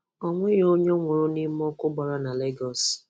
Ọ nweghi ọnye nwụrụ n’ime ọkụ gbara na Lagos.